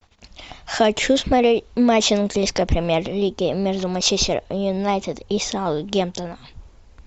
хочу смотреть матч английской премьер лиги между манчестер юнайтед и саутгемптоном